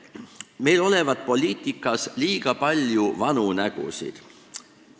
Meil olevat poliitikas liiga palju vanu nägusid.